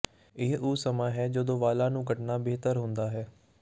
ਇਹ ਉਹ ਸਮਾਂ ਹੈ ਜਦੋਂ ਵਾਲਾਂ ਨੂੰ ਕੱਟਣਾ ਬਿਹਤਰ ਹੁੰਦਾ ਹੈ